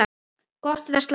Gott eða slæmt?